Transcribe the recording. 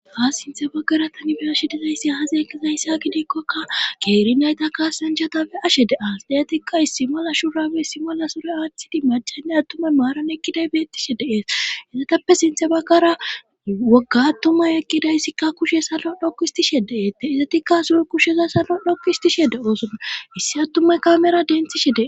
ha sinthe baggara tani be ashe dizayssi haaze ekizayss ha gidikkokka keeri nayta kaassanjatape ashe de as deyetikka issi mala shurabe simola sure aathtidi machanne attumay maaran ekkiday bettishe deees hezatappe sinthe baggara wogga attumay ekkidayssikka kushe salo dhoku istishe deeette izatikka sur kusheza salo dhokku istishe de oosonna issi attumay kamera denthishe dee